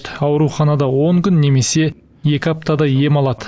аурханада он күн немесе екі аптадай ем алады